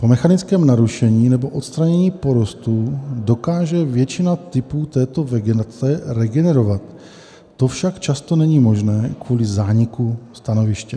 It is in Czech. Po mechanickém narušení nebo odstranění porostů dokáže většina typů této vegetace regenerovat, to však často není možné kvůli zániku stanoviště.